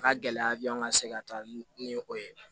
Ka gɛlɛya bi an ka se ka taa ni o ye